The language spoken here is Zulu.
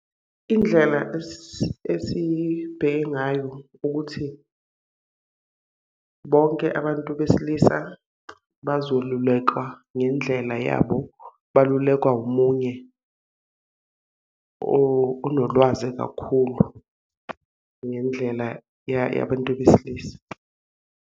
Indlela esibheke ngayo ukuthi, bonke abantu besilisa bazolulekwa ngendlela yabo, balulekwa omunye onolwazi kakhulu ngendlela yabantu besilisa.